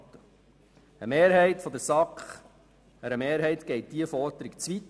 Einer Mehrheit der SAK geht diese Forderung zu weit.